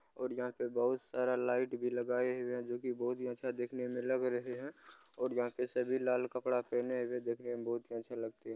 और यहाँ पे बहुत सारा लाइट भी लगाए हुए है जो की बहुत ही अच्छा देखने में लग रहे हैं और यहाँ पे सभी लाल कपड़ा पहने हुए देखने में बहुत ही अच्छे लगते --